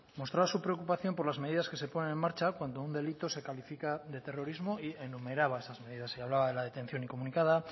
mostraba su preocupación por las medidas que se ponen en marcha cuando un delito se califica de terrorismo y enumeraba esas medidas se hablaba de la detención incomunicada